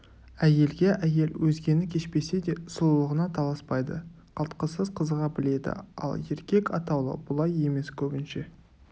әйелге әйел өзгені кешпесе де сұлулығына таласпайды қалтқысыз қызыға біледі ал еркек атаулы бұлай емес көбінше